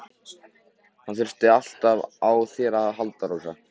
Hann þurfti alltaf á þér að halda, Rósa.